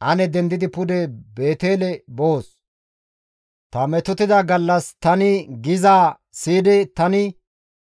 Ane dendidi pude Beetele boos; ta metotida gallas tani gizaa siyidi tani